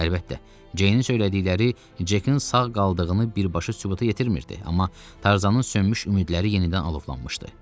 Əlbəttə, Ceynin söylədikləri Cekin sağ qaldığını birbaşa sübuta yetirmirdi, amma Tarzanın sönmüş ümidləri yenidən alovlanmışdı.